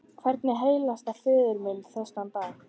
Hvernig heilsast föður mínum þessa dagana?